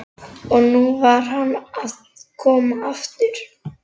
Og nú var hann að koma aftur!